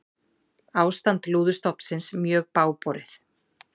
Ástand lúðustofnsins mjög bágborið